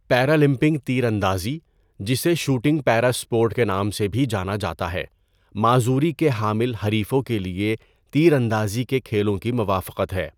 پیرالمپنگ تیراندازی، جسے 'shooting para sport' کے نام سے بھی جانا جاتا ہے، معذوری کے حامل حریفوں کے لیے تیر اندازی کے کھیلوں کی موافقت ہے۔